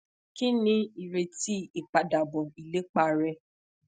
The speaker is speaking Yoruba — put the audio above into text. kini ireti ipadabọ ilepa rẹ